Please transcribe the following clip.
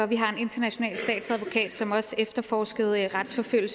vi har en international statsadvokat som også efterforskede og retsforfulgte